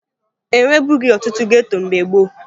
E nwebughi ọtụtụ geto mgbe gboo